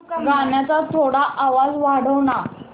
गाण्याचा थोडा आवाज वाढव ना